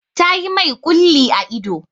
Ta yi mai ƙulli a ido.